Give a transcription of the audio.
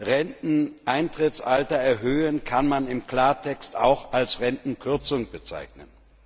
Renteneintrittsalter erhöhen kann man im Klartext auch als Rentenkürzung bezeichnen.